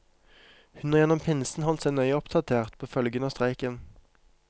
Hun har gjennom pinsen holdt seg nøye oppdatert på følgene av streiken.